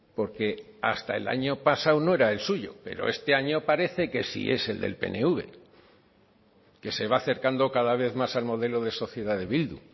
porque hasta el año pasado no era el suyo pero este año parece que sí es el del pnv que se va acercando cada vez más al modelo de sociedad de bildu